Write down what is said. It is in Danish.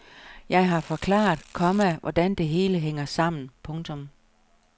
Jeg har forklaret, komma hvordan det hele hænger sammen. punktum